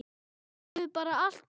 Það hefur bara allt breyst.